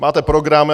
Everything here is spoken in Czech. Máte program.